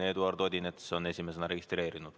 Eduard Odinets on esimesena registreerunud.